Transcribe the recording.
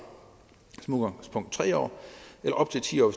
tre år eller op til ti år